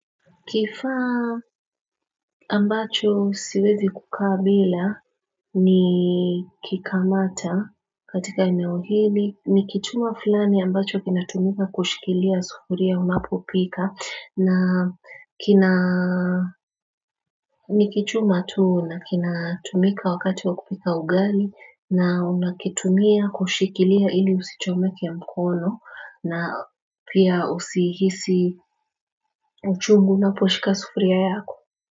Kifaa ambacho siwezi kukaa bila ni kikamata katika eneo hili Nikituma fulani ambacho kinatumika kushikilia sufuria unapopika na kina Nikituma tuu na kinatumika wakati wa kupika ugali na unakitumia kushikilia ili usichomeki ya mkono na pia usihisi uchungu unaposhika sufuria yako.